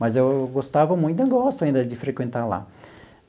Mas eu gostava muito, eu gosto ainda de frequentar lá.